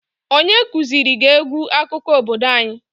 Onye kuziri gị egwu akụkọ obodo anyi?